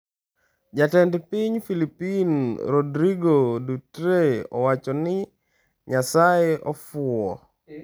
Jatend Piny Philippines Rodrigo Duterte Owacho ni Nyasaye 'ofuwo'